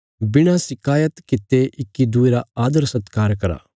बिणा शिकायत कित्ते इक्की दूये रा आदरसत्कार करा